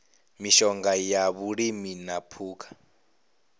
mishonga ya vhulimi na phukha